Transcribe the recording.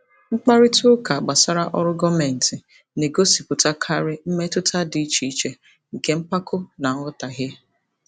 Mkparịta ụka gbasara ọrụ gọọmentị na-egosipụtakarị mmetụta dị iche iche nke mpako na nghọtahie.